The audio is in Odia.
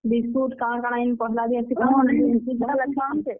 ବିସ୍କୁଟ୍ କାଣା କାଣା ଜେନ୍ ପହେଲା ।